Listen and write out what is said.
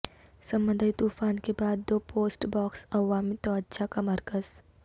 سمندری طوفان کے بعد دو پوسٹ باکس عوامی توجہ کا مرکز